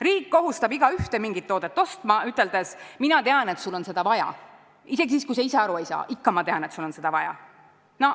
Riik kohustab igaühte mingi toodet ostma, üteldes, mina tean, et sul on seda vaja, isegi siis, kui sa ise aru ei saa, ikka ma tean, et sul on seda vaja.